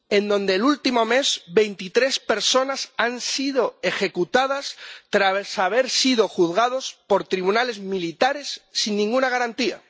donde el último mes veintitrés personas han sido ejecutadas tras haber sido juzgadas por tribunales militares sin ninguna garantía.